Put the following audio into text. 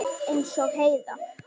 Eins og Heiða.